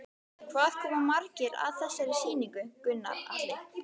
Hvað koma margir að þessari sýningu, Gunnar Atli?